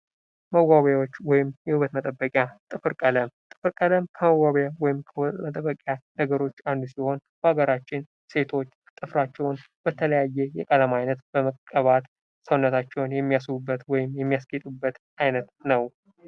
መዋቢያዎች ወይም የውበት መጠበቂያ ፦ ጥፍር ቀለም ፦ ጥፍር ቀለም ከመዋቢያ ወይም ከውበት መጠበቂያ እቃዎች ውስጥ አንዱ ሲሆን ሀገራችን ሴቶች ጥፍራቸውን በተለያየ የቀለም አይነት በመቀባት ሰውነታቸውን የሚያስውቡበት ወይም የሚያስጌጡበት አይነት ነው ።